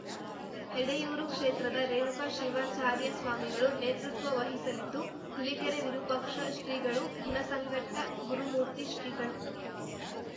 ಎಡೆಯೂರು ಕ್ಷೇತ್ರದ ರೇಣುಕ ಶಿವಾಚಾರ್ಯ ಸ್ವಾಮಿಗಳು ನೇತೃತ್ವ ವಹಿಸಲಿದ್ದು ಹುಲಿಕೆರೆ ವಿರೂಪಾಕ್ಷ ಶ್ರೀಗಳು ಹುಣಸಘಟ್ಟಗುರುಮೂರ್ತಿ ಶ್ರೀಗಳು